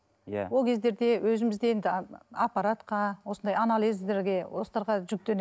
иә ол кездерде өзіміз де енді аппаратқа осындай анализдерге осыларға